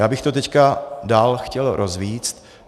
Já bych to teď dále chtěl rozvést.